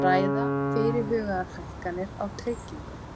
Ræða fyrirhugaðar hækkanir á tryggingum